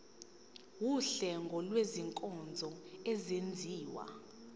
wuhlengo lwezinkonzo ezenziwa